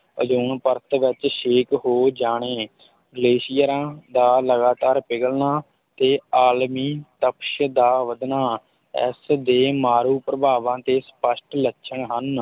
Ozone ਪਰਤ ਵਿੱਚ ਛੇਕ ਹੋ ਜਾਣੇ ਗਲੇਸ਼ੀਅਰਾਂ ਦਾ ਲਗਾਤਾਰ ਪਿਘਲਣਾ ਤੇ ਆਲਮੀ ਤਪਸ਼ ਦਾ ਵੱਧਣਾ ਇਸ ਦੇ ਮਾਰੂ ਪ੍ਰਭਾਵਾਂ ਦੇ ਸਪਸ਼ਟ ਲੱਛਣ ਹਨ।